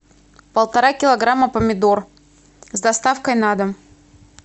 полтора килограмма помидор с доставкой на дом